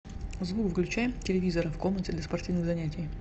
звук выключай телевизора в комнате для спортивных занятий